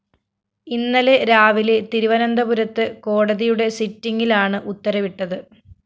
ഇന്നലെ രാവിലെ തിരുവനന്തപുരത്ത് കോടതിയുടെ സിറ്റിംഗിലാണ് ഉത്തരവിട്ടത്